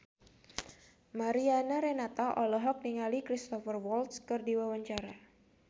Mariana Renata olohok ningali Cristhoper Waltz keur diwawancara